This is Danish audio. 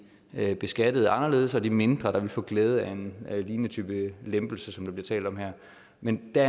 beskattet anderledes og de mindre der ville få glæde af en lignende type lempelse som talt om her men der